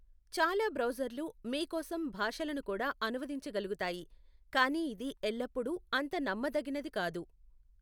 చాలా బ్రౌజర్లు మీ కోసం భాషలను కూడా అనువదించగలుగుతాయి, కానీ ఇది ఎల్లప్పుడూ అంత నమ్మదగినది కాదు.